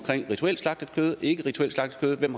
rituelt slagtet kød ikke rituelt slagtet kød hvem